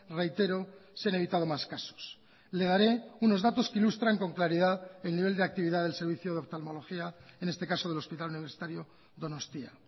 reitero se han evitado más casos le daré unos datos que ilustran con claridad el nivel de actividad del servicio de oftalmología en este caso del hospital universitario donostia